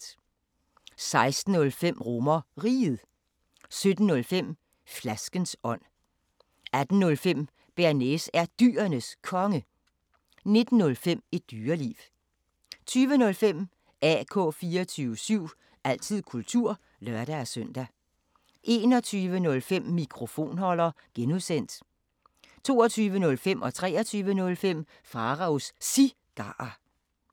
16:05: RomerRiget 17:05: Flaskens ånd 18:05: Bearnaise er Dyrenes Konge 19:05: Et Dyreliv 20:05: AK 24syv – altid kultur (lør-søn) 21:05: Mikrofonholder (G) 22:05: Pharaos Cigarer 23:05: Pharaos Cigarer